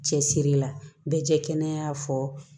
Cɛsiri la bɛɛ jɛya fɔ